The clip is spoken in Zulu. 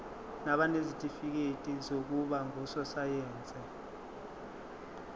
nabanezitifikedi zokuba ngososayense